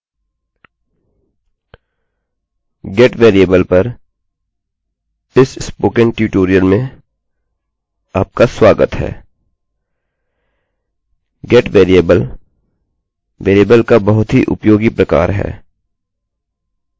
गेटgetवेरिएबल पर इस spoken tutorial में आपका स्वागत है